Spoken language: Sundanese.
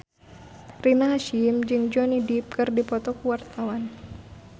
Rina Hasyim jeung Johnny Depp keur dipoto ku wartawan